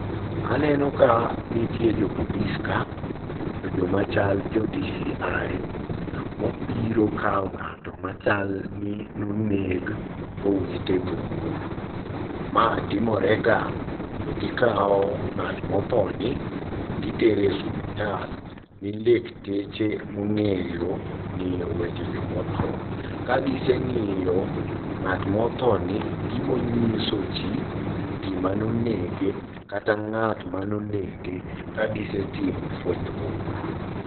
Aneno ka nitie jopolis ka, to jomachal joDCI mobiro kao ng'ato machalni noneg bowite bungu. Maetimorega togikao ng'at modhoni to gitere osuptal ne lekteche mong'eyo ng'iyo weche jomodho. Kagiseng'iyo ng'at modhoni gibonyiso jii gimanonege kata ng'at manonege kagisetimo fuenyruok maduong'.